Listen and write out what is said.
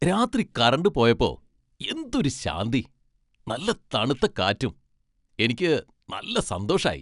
രാത്രി കറന്റ് പോയപ്പോ, എന്തൊരു ശാന്തി! നല്ല തണുത്ത കാറ്റും. എനിക്ക് നല്ല സന്തോഷായി.